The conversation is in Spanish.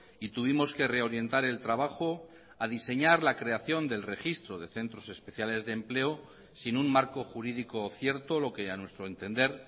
y tuvimos que reorientar el trabajo a diseñar la creación del registro de centros especiales de empleo sin un marco jurídico cierto lo que a nuestro entender